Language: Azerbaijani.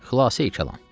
Xülasəyi kəlam.